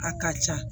A ka ca